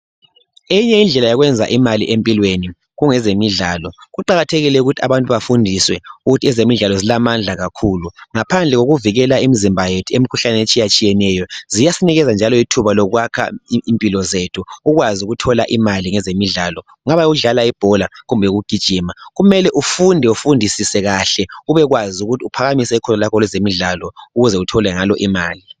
Eyinye indlela yokwenza imali empilweni ngezemidlalo. Kuqakathekile ukuthi abantu bafundiswe ukuthi ezemidlalo zilamandla kakhulu ngaphandle kokuvikela imizimba yethu emikhuhlaneni etshiyatshiyeneyo, ziyasinikeza njalo ithuba lokwakha impilo zethu ukwazi ukuthola imali ngezemidlalo. Kungaba yikudlala ibhola kumbe ukugujima kumele ufunde ufundisise kahle ubekwazi ukuthi uphakamise ukholo lwakho kwezemidlalo ukuze uthole imali.